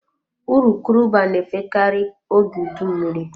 Urukurubụba na-efe karị oge udu mmiri.